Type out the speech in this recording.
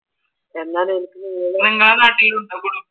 നിങ്ങളുടെ നാട്ടിലും ഉണ്ടോ